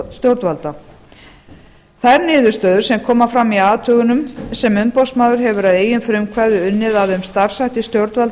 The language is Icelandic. stjórnvalda þær niðurstöður sem koma fram í athugunum sem umboðsmaður hefur að eigin frumkvæði unnið að um starfshætti stjórnvalda að